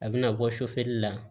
A bɛna bɔ sofɛrila